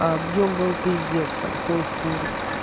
объем был пиздец там полфуры